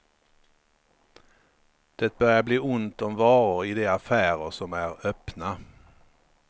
Det börjar bli ont om varor i de affärer som är öppna.